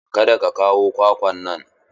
Kada ka kawo kwakwan nan!